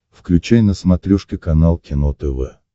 включай на смотрешке канал кино тв